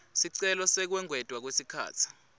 sicelo sekwengetwa kwesikhatsi